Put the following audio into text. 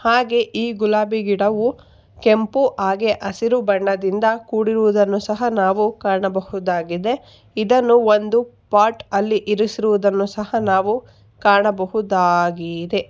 ಹಾಗೇ ಈ ಗುಲಾಬಿ ಗಿಡವು ಕೆಂಪು ಹಾಗೆ ಹಸಿರು ಬಣ್ಣದಿಂದ ಕೂಡಿರುವುದನ್ನು ಸಹ ನಾವು ಕಾಣಬಹುದಾಗಿದೆ ಇದನ್ನು ಒಂದು ಪಾಟ್ ಅಲ್ಲಿ ಇರಿಸಿರುವುದನ್ನು ಸಹ ನಾವು ಕಾಣಬಹುದಾಗಿದೆ.